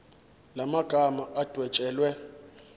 la magama adwetshelwe